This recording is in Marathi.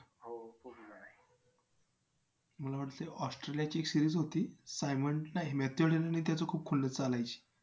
मला वाटतंय Australia ची एक series होती. simon नाही mathew head आणि त्याची खूप खुन्नस चालायची.